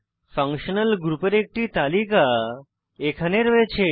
functional গ্রুপের একটি তালিকা এখানে রয়েছে